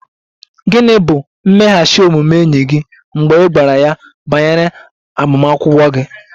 Gịnị bụ mmeghachi omume enyi gị mgbe ị gwara ya banyere agbamakwụkwọ gị?